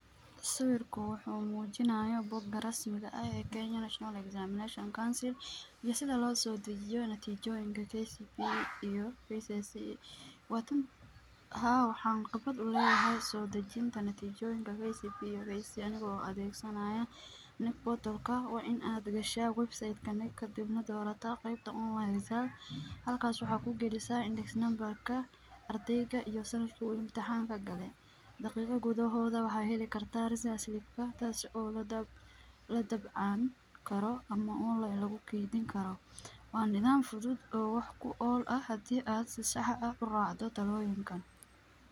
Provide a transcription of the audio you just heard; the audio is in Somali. Sawirkan wuxuu muujinayo bogga rasmiga ah ee Kenya National Examination Council iyo sidii loo soo deyiyo natiijooyinka KCPE iyo KCSE. Waa u tan haa. Waxaan qabat la yahay soo dejinta natiijooyinka KCPE iyo KCSE adagoo adeegsanaya KNEC Portal ka. Waa in aad gashaa website ka KNEC ka dibna doorata qeybta online exam. Halkaas waxaa ku gelisaa index number ka, ardheyga iyo sannad kuu imtixaan ka galay. Daqiiqa gudahooda waxaa heli kartaa result slip ka taasi oo la daba la dabcan karo ama online lagu kiidinkaro. Waa nidaam fuduud oo wax ku ol ah haddii aad sax ah u raacdo talooyinkan.